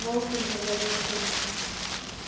волки взорвались в комнату